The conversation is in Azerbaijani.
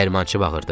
Dəyirmançı bağırdı.